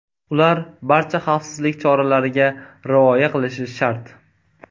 Ular barcha xavfsizlik choralariga rioya qilishi shart.